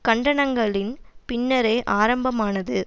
கண்டனங்களின் பின்னரே ஆரம்பமானது